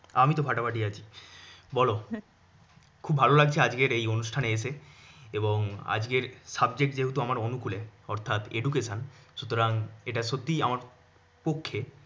আমি তো ফাতাফাতি আছি। বল। খুব ভালো লাগছে আজকের এই অনুষ্ঠানে এসে। এবং আজকের subject যেহেতু আমার অনুকুলে অর্থাৎ education সুতরাং এটা সত্যি আমার পক্ষে